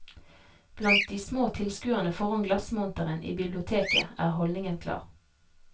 Blant de små tilskuerne foran glassmonteren i biblioteket er holdningen klar.